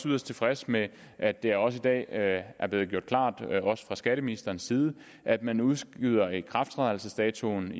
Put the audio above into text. yderst tilfreds med at det også i dag er er blevet gjort klart også fra skatteministerens side at man udskyder ikrafttrædelsesdatoen